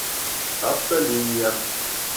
автолиния